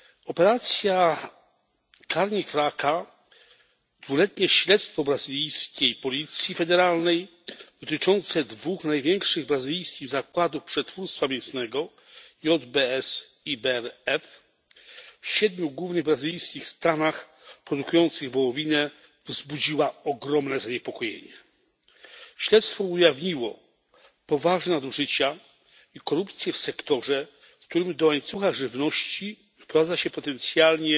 Operacja Carne Fraca dwuletnie śledztwo brazylijskiej policji federalnej dotyczące dwóch największych brazylijskich zakładów przetwórstwa mięsnego w siedmiu głównych brazylijskich stanach produkujących wołowinę wzbudziła ogromne zaniepokojenie. Śledztwo ujawniło poważne nadużycia i korupcję w sektorze, w którym do łańcucha żywności wprowadza się potencjalnie